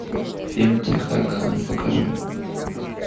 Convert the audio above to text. фильм тихая гавань покажи